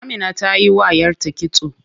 Amina tayi wa yarta kitso.